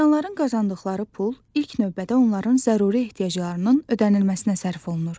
İnsanların qazandıqları pul ilk növbədə onların zəruri ehtiyaclarının ödənilməsinə sərf olunur.